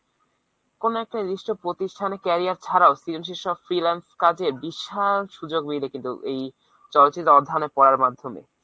কোন একটা নির্দিষ্ট প্রতিষ্ঠানে career ছাড়াও সব freelance কাজের বিশাল সুযোগ মেলে কিন্তু এই চলচিত্র অধ্যয়নে পড়ার মাধ্যমে।